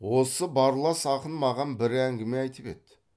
осы барлас ақын маған бір әңгіме айтып еді